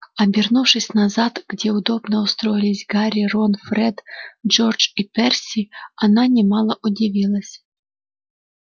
обернувшись назад где удобно устроились гарри рон фред джордж и перси она немало удивилась